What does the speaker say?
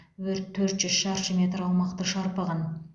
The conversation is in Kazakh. өрт төрт жүз шаршы метр аумақты шарпыған